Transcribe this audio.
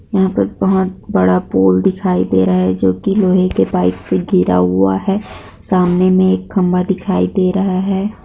यहाँ पर बहुत बड़ा पुल दिखाई दे रहा है जो की लोहे के पाइप से घिरा हुआ है सामने में एक खम्मा दिखाई दे रहा है।